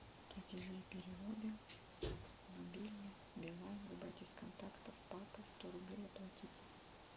платежи и переводы мобильный билайн выбрать из контактов папа сто рублей оплатить